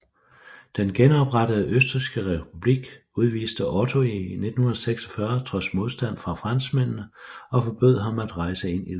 Den genoprettede østrigske republik udviste Otto i 1946 trods modstand fra franskmændene og forbød ham at rejse ind i landet